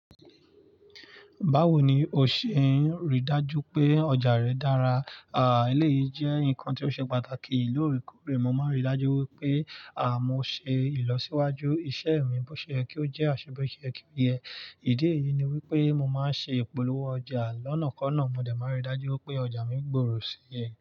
Báwo ni o ṣe ń rí dájú pé ọjà rẹ dára? Éléyì jẹ́ nǹkan tí ó ṣe pàtàkì. Lóòrèkoore, mo máa ń rí i dájú wípé, mo ṣe ìlọsíwájú iṣẹ́ mi bó ṣe yé kí ó jẹ́ àṣe bó sé ye kí ó ye ìdí èyí ni wípé mo máa ń ṣe ìpolówó ọjà lọ́nàkọ́ọ̀nà. Mó dé, màá rí i dájú wípé ọjà mi gbòòrò síye.